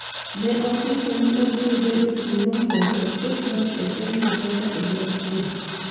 Ne osingo ni obiro bedo kuno mondo oket loch e piny Uganda e yor kwe